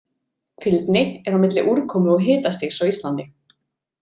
Fylgni er á milli úrkomu og hitastigs á Íslandi.